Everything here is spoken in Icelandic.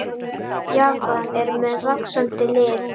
Japan er með vaxandi lið.